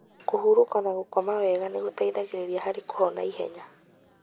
Kũhurũka na gũkoma wega nĩgũteithagia harĩ kũhona ihenya.